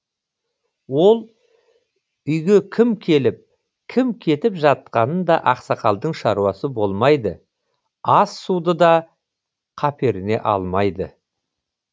ол үйге кім келіп кім кетіп жатқанында ақсақалдың шаруасы болмайды ас суды да каперіне алмайды